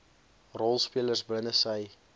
rolspelers binne sy